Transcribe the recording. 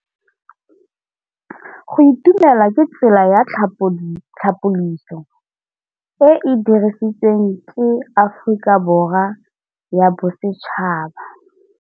Go itumela ke tsela ya tlhapolisô e e dirisitsweng ke Aforika Borwa ya Bosetšhaba.